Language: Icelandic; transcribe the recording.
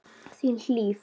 Þín, Hlíf.